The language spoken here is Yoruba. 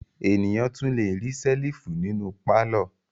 Ènìyàn tún le rí ṣẹ́lífù nínú pálọ̀.